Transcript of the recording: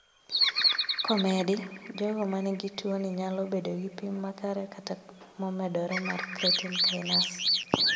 Komedi, jogo manigi tuo ni nyalo bedo gi pim makare kata momedore mar creatine kinase